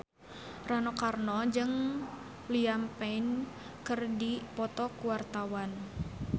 Rano Karno jeung Liam Payne keur dipoto ku wartawan